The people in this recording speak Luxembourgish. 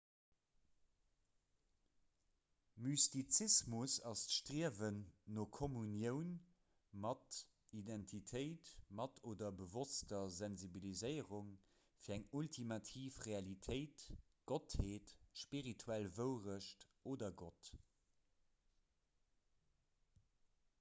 mystizismus ass d'striewen no kommunioun mat identitéit mat oder bewosster sensibiliséierung fir eng ultimativ realitéit gottheet spirituell wouerecht oder gott